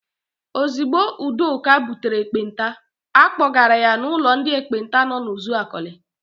Ozigbo Udoka butere ekpenta, a kpọgara ya n'ụlọ ndị ekpenta nọ n'Uzuakọlị.